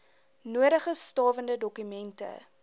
nodige stawende dokumente